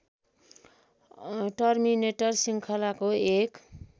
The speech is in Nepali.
टर्मिनेटर श्रृङ्खलाको एक